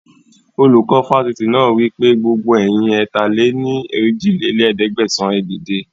Olùkọ́ Fásitì náà wípé, gbogbo ẹ̀yin ẹ̀ta-lé-ní-ojì lé ní ẹ̀ẹ́dẹ́gbẹ́sán, ẹ dìde